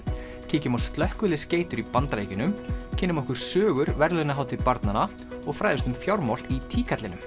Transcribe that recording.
kíkjum á slökkviliðsgeitur í Bandaríkjunum kynnum okkur sögur verðlaunahátíð barnanna og fræðumst um fjármál í